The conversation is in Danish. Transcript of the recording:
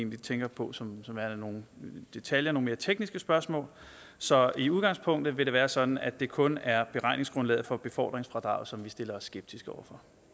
vi tænker på som værende nogle detaljer nogle mere tekniske spørgsmål så i udgangspunktet vil det være sådan at det kun er beregningsgrundlaget for befordringsfradraget som vi stiller os skeptiske over